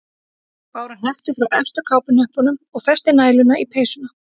Bára hneppti frá efstu kápuhnöppunum og festi næluna í peysuna.